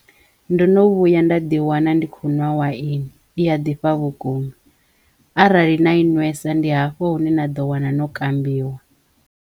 Ndo no vhuya nda ḓi wana ndi kho nwa waine i ya ḓifha vhukuma arali na i nwesa ndi hafho hune na ḓo wana no kambiwa.